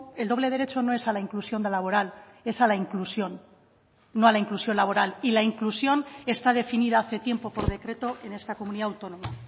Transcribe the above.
el doble derecho no es a la inclusión laboral es a la inclusión no a la inclusión laboral y la inclusión está definida hace tiempo por decreto en esta comunidad autónoma